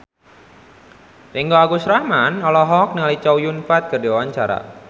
Ringgo Agus Rahman olohok ningali Chow Yun Fat keur diwawancara